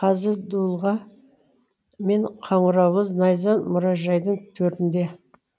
қазір дулыға мен қаңыраулы найза мұражайдың төрінде